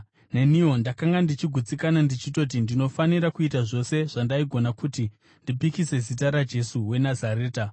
“Neniwo ndakanga ndichigutsikana ndichitoti ndinofanira kuita zvose zvandaigona kuti ndipikise zita raJesu weNazareta.